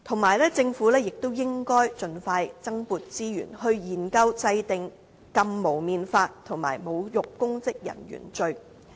而且，政府亦應盡快增撥資源，研究制定禁蒙面法及侮辱公職人員罪。